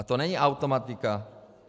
A to není automatika.